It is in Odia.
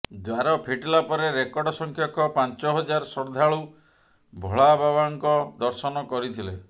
ଦ୍ୱାର ଫିଟିଲା ପରେ ରେକର୍ଡ ସଂଖ୍ୟକ ପାଞ୍ଚ ହଜାର ଶ୍ରଦ୍ଧାଳୁ ଭୋଳାବାବାଙ୍କ ଦର୍ଶନ କରିଥିଲେ